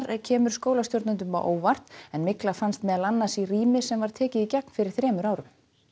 kemur skólastjórnendum á óvart en mygla fannst meðal annars í rými sem var tekið í gegn fyrir þremur árum